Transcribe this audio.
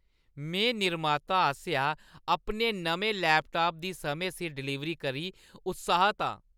में निर्माता आसेआ अपने नमें लैपटाप दी समें सिर डलीवरी करी उत्साहत आं।